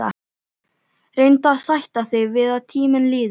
Reyndu að sætta þig við að tíminn líður.